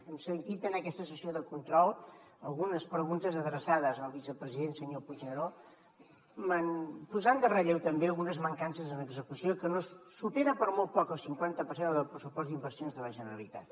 hem sentit en aquesta sessió de control algunes preguntes adreçades al vicepresident senyor puigneró posant de relleu també algunes mancances en execució que supera per molt poc el cinquanta per cent del pressupost d’inversions de la generalitat